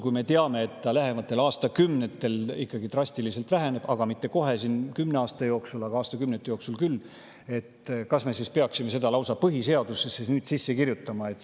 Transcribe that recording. Kui me teame, et see lähematel aastakümnetel ikkagi drastiliselt väheneb – kuigi mitte kohe, kümne aasta jooksul, aga aastakümnete jooksul küll –, kas me siis peaksime seda sellisel kujul lausa põhiseadusesse sisse kirjutama?